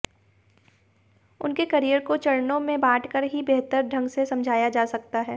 उनके करियर को चरणों में बांटकर ही बेहतर ढंग से समझा जा सकता है